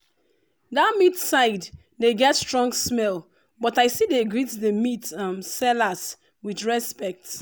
that meat side dey get strong smell but i still dey greet the meat um sellers with respect.